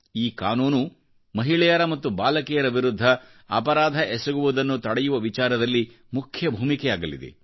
ಈ ಕಾನೂನು ಮಹಿಳೆಯರ ಮತ್ತು ಬಾಲಕಿಯರ ವಿರುದ್ಧ ಅಪರಾಧ ಎಸಗುವುದನ್ನು ತಡೆಯುವ ವಿಚಾರದಲ್ಲಿ ಮುಖ್ಯ ಭೂಮಿಕೆಯಾಗಲಿದೆ